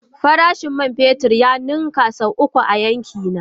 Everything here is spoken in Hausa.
Farashin man fetur ya ninka sau uku a yankina.